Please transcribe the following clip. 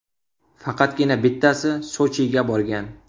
Faqatgina bittasi Sochiga borgan.